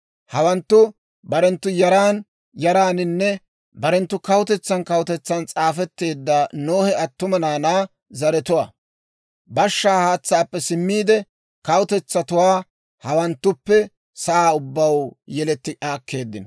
Hawanttu barenttu yaran yaraaninne barenttu kawutetsan kawutetsan s'aafetteedda Nohe attuma naanaa zaratuwaa. Bashshaa haatsaappe simmiide, kawutetsatuwaa hawanttuppe sa'aa ubbaw yeletti aakkeeddinno.